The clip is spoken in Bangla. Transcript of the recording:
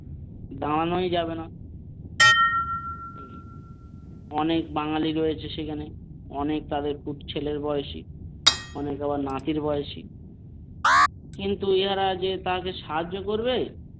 দাঁড়ানোই যাবেনা অনেক বাঙালি রয়েছে সেখানে অনেক তাদের পুত ছেলের বয়সী অনেকে আবার নাতির বয়সী কিন্তু ইনারা যে তাকে সাহায্য করবে।